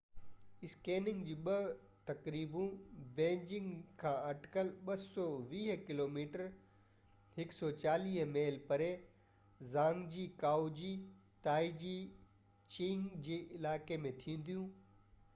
اسڪينگ جون ٻيون تقريبون بيجنگ کان اٽڪل 220 ڪلوميٽر 140 ميل پري زانگجي ڪائو جي تائيزي چينگ جي علائقي ۾ ٿينديون